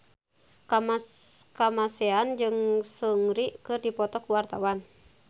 Kamasean jeung Seungri keur dipoto ku wartawan